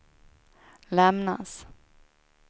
lämnas